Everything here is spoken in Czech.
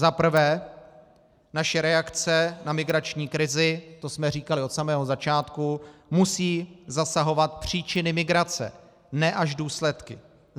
Za prvé, naše reakce na migrační krizi, to jsme říkali od samého začátku, musí zasahovat příčiny migrace, ne až důsledky.